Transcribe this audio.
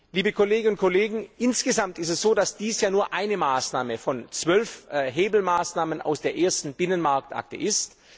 Liebe Kolleginnen und Kollegen, insgesamt ist es so, dass dies nur eine Maßnahme von zwölf Hebelmaßnahmen aus der ersten Binnenmarktakte ist.